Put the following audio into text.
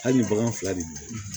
Hali ni bagan fila de don